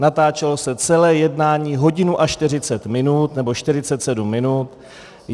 Natáčelo se celé jednání hodinu a 40 minut nebo 47 minut.